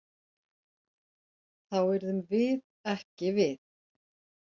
Þá yrðum við ekki við.